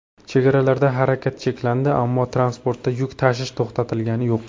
Chegaralarda harakat cheklandi, ammo transportda yuk tashish to‘xtatilgani yo‘q .